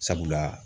Sabula